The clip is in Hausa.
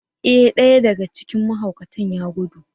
Ee! ɗaya daga cikin mahaukatan ya gudu.